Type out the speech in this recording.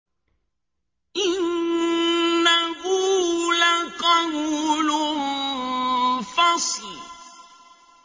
إِنَّهُ لَقَوْلٌ فَصْلٌ